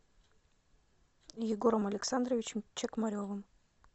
егором александровичем чекмаревым